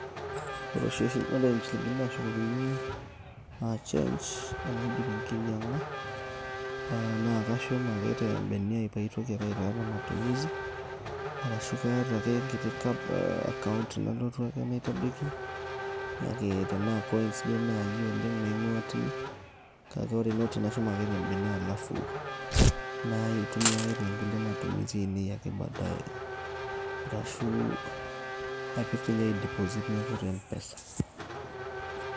Ore inchilinkini nashukokini ah change tenaidip enkinyang'a, na kashum ake tebene ai paitoki ake aitaa nematumisi, arashu kaata ake enkiti account nalotu ake naitadoki, kake tenaa coins duo nai oleng',naing'uaa tine. Kake ore noti nashum ake tebene alafu, naitumia ake tonkulie matumisi ainei e badae. Arashu napik toinye ai deposit neeku mpesa.